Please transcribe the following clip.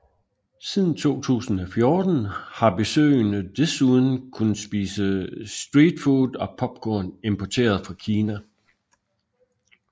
Siden 2014 har besøgende desuden kunnet spise street food og popcorn importeret fra Kina